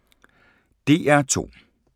DR2